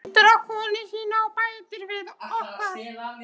Hann lítur á konu sína og bætir við: Okkar.